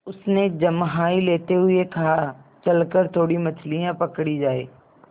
उसने जम्हाई लेते हुए कहा चल कर थोड़ी मछलियाँ पकड़ी जाएँ